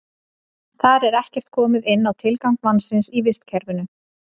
Þar er ekkert komið inn á tilgang mannsins í vistkerfinu.